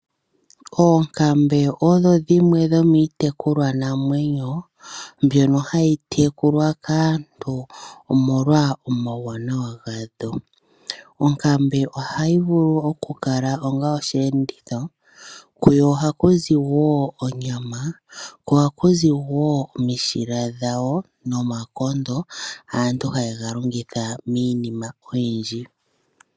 Oonkambe odho dhimwe dhomiitekulwa namwenyo dhono hadhi tekulwa kaantu omolwa omawuwanawa gadho. Onkambe ohayi vulu oku kala ongaa osheenditho. Kuyo ohaku zi wo onyama. Ko ohaku zi wo omishila nomakondo aantu haye ga longitha miinima oyindji.